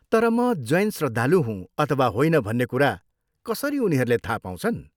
तर म जैन श्रद्धालु हुँ अथवा होइन भन्ने कुरा कसरी उनीहरूले थाहा पाउँछन्?